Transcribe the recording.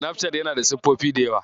Sinafcat yana da siffofi da yawa.